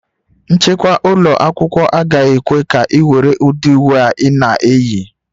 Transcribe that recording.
Nchekwa ụlọ akwụkwọ agaghị ekwe ka ị were ụdị uwe a ị na-eyi